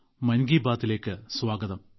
മൻ കി ബാത്തിലേക്ക് സ്വാഗതം